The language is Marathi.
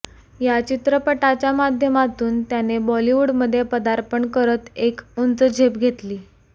या चित्रपटाच्या माध्यमातून त्याने बॉलीवूडमध्ये पदार्पण करत एक उंच झेप घेतली